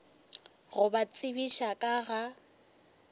go ba tsebiša ka ga